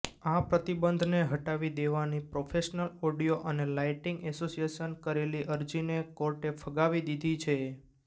આ પ્રતિબંધને હટાવી દેવાની પ્રોફેશનલ ઓડિયો અને લાઈટિંગ એસોસિએશને કરેલી અરજીને કોર્ટે ફગાવી દીધી છે